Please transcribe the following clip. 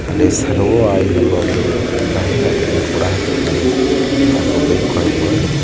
ಅಲ್ಲಿ Servo oil ಎಂಬ ಒಂದು ಜಾಹೀರಾತನ್ನು ಕೂಡ ಹಾಕಿರ್ತಾರೆ ಹಾಗೂ ಬೈಕ್ ಕೂಡಕುಡ ನಿಂತಿ --